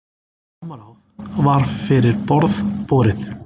Samráð var fyrir borð borið.